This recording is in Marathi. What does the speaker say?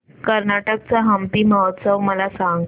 कर्नाटक चा हम्पी महोत्सव मला सांग